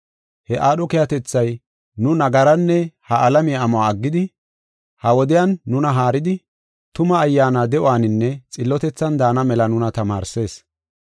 He aadho keehatethay, nu nagaranne ha alamiya amuwa aggidi, ha wodiyan nuna haaridi, tuma ayyaana de7uwaninne xillotethan daana mela nuna tamaarsees.